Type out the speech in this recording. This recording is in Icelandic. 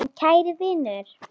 En kæri vinur.